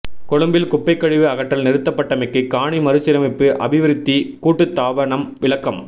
கொழும்பில் குப்பை கழிவு அகற்றல் நிறுத்தப்பட்டமைக்கு காணி மறுசீரமைப்பு அபிவிருத்தி கூட்டுத்தாபனம் விளக்கம்